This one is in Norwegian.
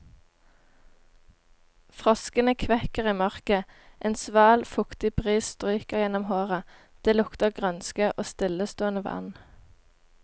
Froskene kvekker i mørket, en sval, fuktig bris stryker gjennom håret, det lukter grønske og stillestående vann.